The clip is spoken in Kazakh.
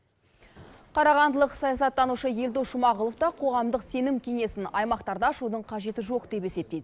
қарағандылық саясаттанушы елдос жұмағұлов та қоғамдық сенім кеңесін аймақтарда ашудың қажеті жоқ деп есептейді